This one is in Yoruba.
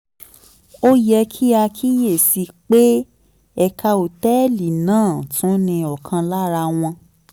ó yẹ kí a kíyè sí i pé ẹ̀ka òtẹ́ẹ̀lì náà tún ní ọ̀kan lára àwọn